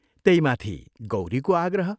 त्यहीमाथि गौरीको आग्रह।